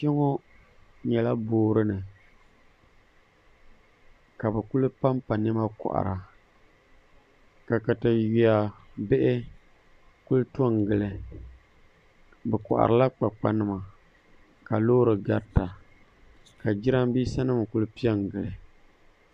Kpɛ ŋo nyɛla boori ni ka bi ku panpa niɛma kohara ka katawiya bihi ku to n gili bi koharila kpakpa nima ka loori garita ka jiranbiisa nim ku piɛ n gili